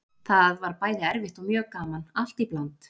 Það var bæði erfitt og mjög gaman, allt í bland.